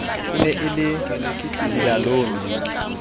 e ne e le dilalome